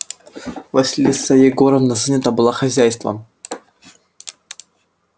василиса егоровна занята была хозяйством